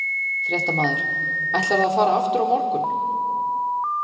Fréttamaður: Ætlarðu að fara aftur á morgun?